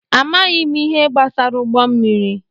Amaghị m ihe gbasara ụgbọ mmiri.